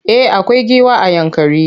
Eh akwai giwa a Yankari.